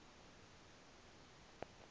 ma ukuthi masi